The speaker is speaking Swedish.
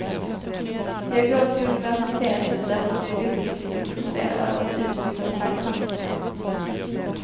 Jag går till universitetet därför att jag är uppriktigt intresserad av att utbyta tankar.